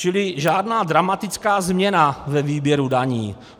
Čili žádná dramatická změna ve výběru daní.